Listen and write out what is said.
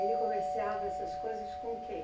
Ele comerciava essas coisas com quem?